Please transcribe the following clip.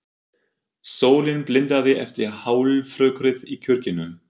Sólin blindaði eftir hálfrökkrið í kirkjunni.